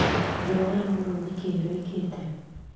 Rũara rũrũ nĩkĩĩ rũĩkĩte?